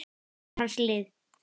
var hans lið.